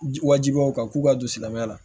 Wajibi o kan k'u ka don silamɛya la